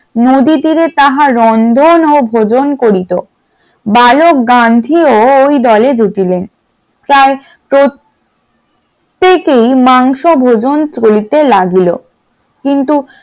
নদীর তীরে তাহা রন্ধন ও ভোজন করিতো বালোক গান্ধী ও ওই দলে জুটিলেন তার প্রত্যেকেই মাংস ভোজন করিতে লাগলো ।